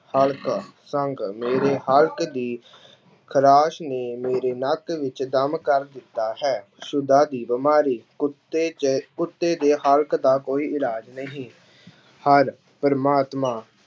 ਹਲਕਾ, ਸੰਘ ਮੇਰੇ ਹਲਕ ਦੀ ਖ਼ਰਾਸ ਨੇ ਮੇਰੇ ਨੱਕ ਵਿੱਚ ਦਮ ਕਰ ਦਿੱਤਾ ਹੈ, ਸੁਦਾ ਦੀ ਬਿਮਾਰੀ ਕੁੱਤੇ ਜੇ ਕੁੱਤੇ ਦੇ ਹਲਕ ਦਾ ਕੋਈ ਇਲਾਜ ਨਹੀਂ ਹਰਿ ਪ੍ਰਮਾਮਤਾ